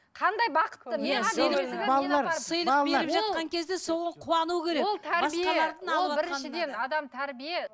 қандай бақытты сыйлық беріп жатқан кезде соған қуану керек ол біріншіден адам тәрбие